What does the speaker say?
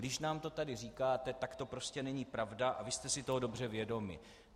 Když nám to tady říkáte, tak to prostě není pravda a vy jste si toho dobře vědomi.